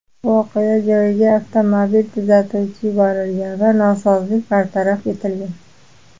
Voqea joyiga avtomobil tuzatuvchi yuborilgan va nosozlik bartaraf etilgan.